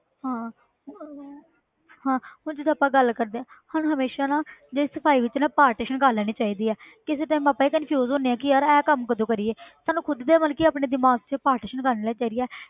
ਹਾਂ ਹਾਂ ਹੁਣ ਜਿੱਦਾਂ ਆਪਾਂ ਗੱਲ ਕਰਦੇ ਹਾਂ ਸਾਨੂੰ ਹਮੇਸ਼ਾ ਨਾ ਜਿਹੜੀ ਸਫ਼ਾਈ ਵਿੱਚ ਨਾ partition ਕਰ ਲੈਣੀ ਚਾਹੀਦੀ ਹੈ ਕਿਸੇ time ਆਪਾਂ ਹੀ confuse ਹੁੰਦੇ ਹਾਂ ਕਿ ਯਾਰ ਇਹ ਕੰਮ ਕਦੋਂ ਕਰੀਏ ਸਾਨੂੰ ਖੁੱਦ ਦੇ ਮਤਲਬ ਕਿ ਆਪਣੇ ਦਿਮਾਗ 'ਚ partition ਕਰ ਲੈਣੀ ਚਾਹੀਦੀ ਹੈ